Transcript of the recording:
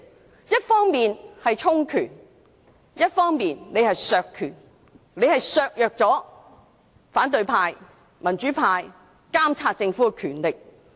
他們一方面是充權，另一方面是削權，他們削弱了反對派、民主派監察政府的權力。